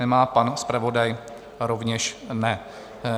Nemá, pan zpravodaj rovněž ne.